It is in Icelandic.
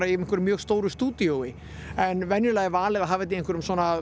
í einhverju mjög stóru stúdíói en venjulega er valið að hafa þetta í einhverjum svona